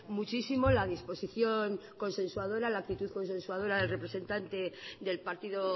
muchísimo la disposición consensuadora la actitud consensuadora del representante del partido